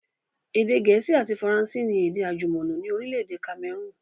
Èdè gẹ̀ẹ́sì àti Faransé ni èdè àjùmọ̀lò ni orílẹ̀èdè Cameroon